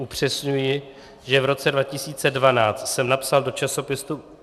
Upřesňuji, že v roce 2012 jsem napsal do časopisu